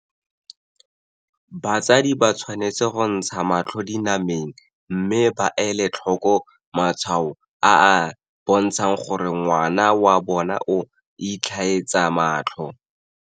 Batsadi ba tshwanetse go ntsha matlho dina meng mme ba ele tlhoko matshwao a a bontshang gore ngwana wa bona o itlhaetsa matlho.